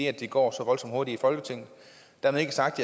at det går så voldsomt hurtigt i folketinget dermed ikke sagt